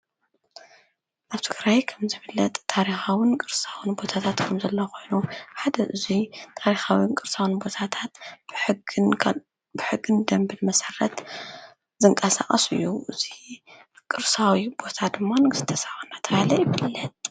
ኣብ ትግራይ ከም ዝፍለጥ ታሪኻውን ቅርስታትን ቦታታት ከም ዘለው ከም ዝፍለጥ ኮይኑ ሓደ እዙይ ታሪኻውን ቅርሳውን ቦታታት ብሕግን ደንብን መሰረት ዝንቃሳቀስ እዩ። እዚ ቅርሳዊ ቦታ ድማ ንግስተ ሰባ እንዳተባሃለ ይፍለጥ።